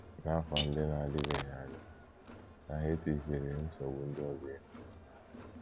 N’afọ ndị na - adịbeghị anya, Tahiti chere nsogbu ndị ọzọ ihu.